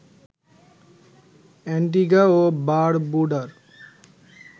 Antigua ও বারবুডার